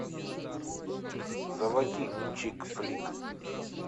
заводи чик флик